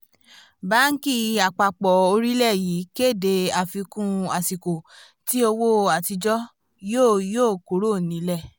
báńkì àpapọ̀ orílẹ̀ yìí kéde àfikún àsìkò tí owó àtijọ́ yóò yóò kúrò nílẹ̀